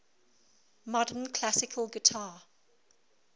modern classical guitar